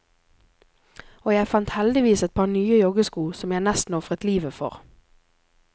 Og jeg fant heldigvis et par nye joggesko som jeg nesten ofret livet for.